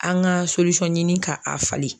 An ka ɲini ka a falen.